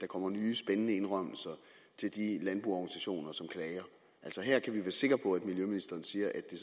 kommer nye spændende indrømmelser til de landboorganisationer som klager her kan vi sikre på at miljøministeren siger at det